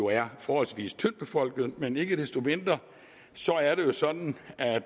er forholdsvis tyndtbefolkede men ikke desto mindre er det sådan at